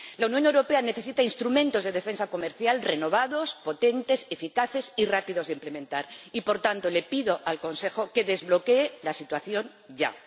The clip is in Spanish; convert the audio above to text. La Unión Europea necesita instrumentos de defensa comercial renovados, potentes, eficaces y rápidos de implementar y, por tanto, le pido al Consejo que desbloquee la situación ya.